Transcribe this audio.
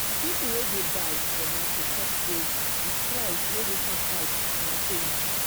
people wey dey buy for market talk say de price wey de shop write na so e be.